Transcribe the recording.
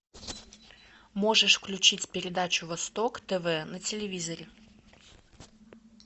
можешь включить передачу восток тв на телевизоре